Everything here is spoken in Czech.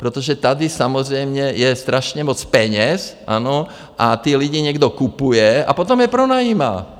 Protože tady samozřejmě je strašně moc peněz, ano, a ty lidi někdo kupuje a potom je pronajímá.